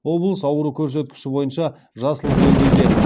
облыс ауру көрсеткіші бойынша жасыл белдеуде